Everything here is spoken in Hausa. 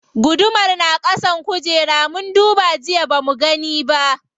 Gudumar na ƙasan kujera, mun duba jiya bamu gani ba.